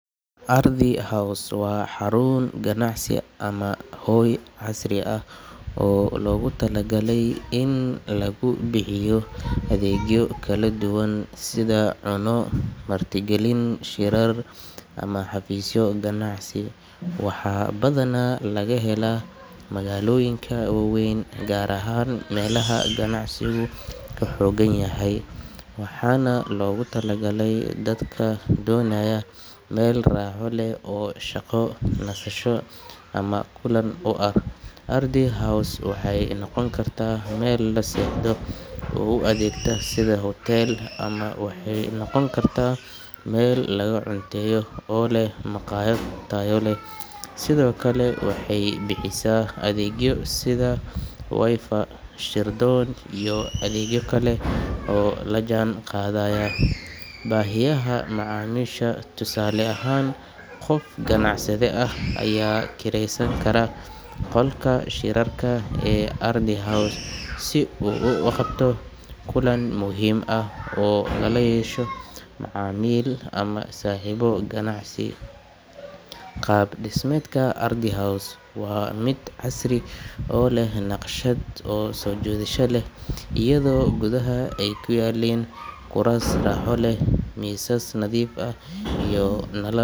Ardi House waa xarun ganacsi ama hoy casri ah oo loogu talagalay in lagu bixiyo adeegyo kala duwan sida cunno, martigelin, shirar, ama xafiisyo ganacsi. Waxaa badanaa laga helaa magaalooyinka waaweyn, gaar ahaan meelaha ganacsigu ka xooggan yahay, waxaana loogu talagalay dadka doonaya meel raaxo leh oo shaqo, nasasho ama kulan u ah. Ardi House waxay noqon kartaa meel la seexdo oo u adeegta sida huteel, ama waxay noqon kartaa meel laga cunteeyo oo leh makhaayad tayo leh. Sidoo kale, waxay bixisaa adeegyo sida Wi-Fi, shir-doon, iyo adeegyo kale oo la jaan qaadaya baahiyaha macaamiisha. Tusaale ahaan, qof ganacsade ah ayaa kiraysan kara qolka shirarka ee Ardi House si uu u qabto kulan muhiim ah oo lala yeesho macaamiil ama saaxiibo ganacsi. Qaab dhismeedka Ardi House waa mid casri ah oo leh naqshad soo jiidasho leh, iyadoo gudaha ay ku yaalliin kuraas raaxo leh, miisas nadiif ah, iyo nalal.